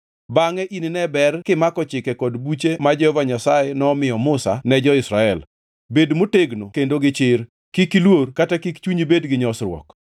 Bangʼe inine ber kimako chike kod buche ma Jehova Nyasaye nomiyo Musa ne jo-Israel. Bed motegno kendo gichir, kik iluor kata kik chunyi bed gi nyosruok.